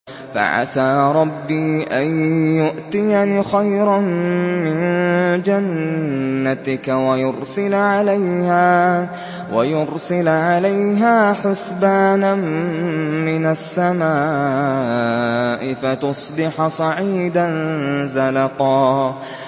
فَعَسَىٰ رَبِّي أَن يُؤْتِيَنِ خَيْرًا مِّن جَنَّتِكَ وَيُرْسِلَ عَلَيْهَا حُسْبَانًا مِّنَ السَّمَاءِ فَتُصْبِحَ صَعِيدًا زَلَقًا